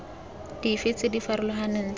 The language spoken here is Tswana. dife tse di farologaneng tsa